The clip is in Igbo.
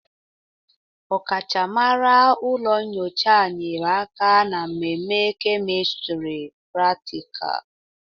Ọkachamara ụlọ nyocha nyere aka ná mmeme kemistri pratịkal.